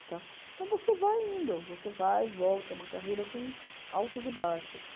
Então, você vai indo, você vai e volta, é uma carreira com altos e baixos.